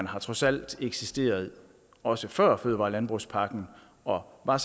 har trods alt eksisteret også før fødevare og landbrugspakken og var